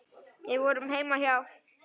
Við vorum heima hjá